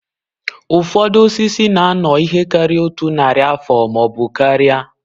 Ụfọdụ osisi na-anọ ihe karịrị otu narị afọ ma ọ bụ karịa